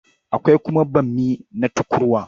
Akwai kuma bammi na tukurwa.